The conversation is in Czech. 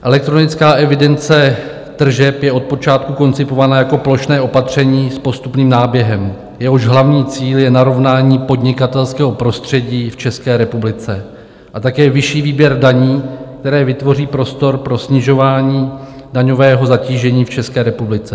Elektronická evidence tržeb je od počátku koncipovaná jako plošné opatření s postupným náběhem, jehož hlavní cíl je narovnání podnikatelského prostředí v České republice a také vyšší výběr daní, které vytvoří prostor pro snižování daňového zatížení v České republice.